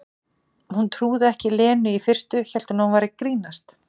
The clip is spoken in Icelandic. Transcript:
Hún trúði ekki Lenu í fyrstu, hélt hún væri að grínast.